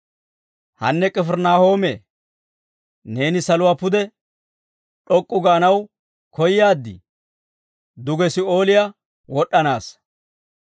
Hanne K'ifirinaahoome, neeni saluwaa pude d'ok'k'u gaanaw koyaad? Duge Si'ooliyaa wod'd'anaassa.